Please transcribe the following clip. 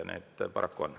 Need paraku on.